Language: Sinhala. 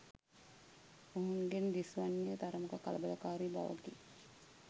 ඔවුන්ගෙන් දිස්වන්නේ තරමක කලබලකාරි බවකි.